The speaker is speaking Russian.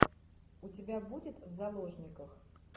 у тебя будет в заложниках